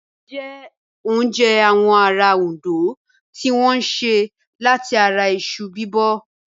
Iyán jẹ́ oúnjẹ àwọn ará Òndó tí wọ́n sè láti ara iṣu Bíbọ̀